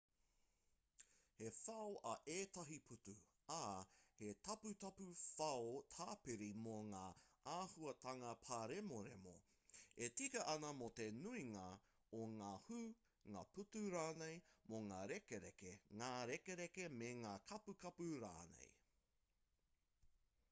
he whao ā ētahi pūtu ā he taputapu whao tāpiri mō ngā āhuatanga pāremoremo e tika ana mō te nuinga o ngā hū ngā pūtu rānei mō ngā rekereke ngā rekereke me ngā kapukapu rānei